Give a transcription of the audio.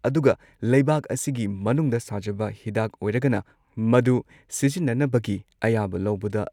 ꯑꯗꯨꯒ ꯂꯩꯕꯥꯛ ꯑꯁꯤꯒꯤ ꯃꯅꯨꯡꯗ ꯁꯥꯖꯕ ꯍꯤꯗꯥꯛ ꯑꯣꯏꯔꯒꯅ ꯃꯗꯨ ꯁꯤꯖꯤꯟꯅꯅꯕꯒꯤ ꯑꯌꯥꯕ ꯂꯧꯕꯗ